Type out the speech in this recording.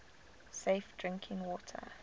safe drinking water